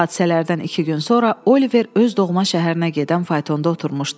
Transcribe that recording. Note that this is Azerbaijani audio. Bu hadisələrdən iki gün sonra Oliver öz doğma şəhərinə gedən faytonda oturmuşdu.